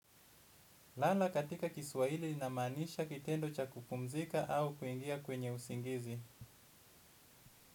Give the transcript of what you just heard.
Lala katika kiswahili linamaanisha kitendo cha kupumzika au kuingia kwenye usingizi.